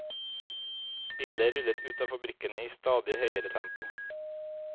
Biler rullet ut av fabrikkene i stadig høyere tempo.